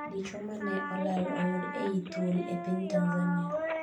Dichuo mane olal oyudi ei thuol e piny Tanzania